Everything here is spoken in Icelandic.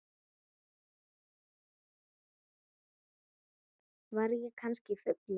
Var ég kannski fullur?